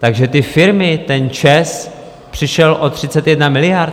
Takže ty firmy, ten ČEZ, přišel o 31 miliard?